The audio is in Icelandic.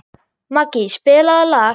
Maggý, spilaðu lag.